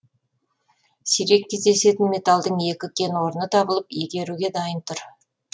сирек кездесетін металдың екі кен орны табылып игеруге дайын тұр